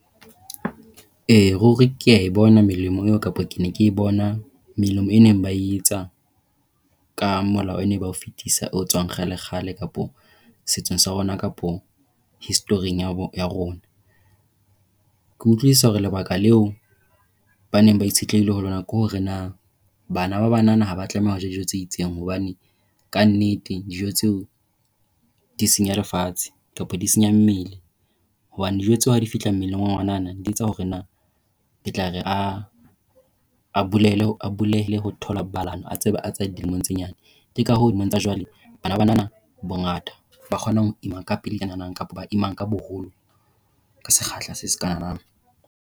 E, ruri ke a e bona melemo eo kapa ke ne ke bona melemo e neng ba e etsa ka molao e neng ba o fetisa o tswang kgale kgale kapa setsong sa rona kapa history ya rona. Ke utlwisisa hore lebaka leo ba neng ba itshetlehile ho lona ke hore na bana ba banana ha ba tlameha ho ja dijo tse itseng, hobane ka nnete dijo tseo di senya lefatshe kapa di senya mmele hobane dijo tsa hao di fihla mmeleng wa ngwanana, di etsa hore na ke tla re a bulele a ba bulehele ho tsa thobalano, a tseba Tshoaea dilemo tse nyane. Ke ka hoo dilemong tsa jwale bana bana bongata ba kgona ho ima ka pelenyana kapa ba imang ka boholo ka sekgahla se .